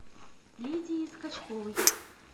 лидии скачковой